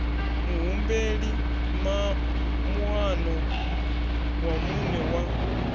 muhumbeli moano wa muṋe wa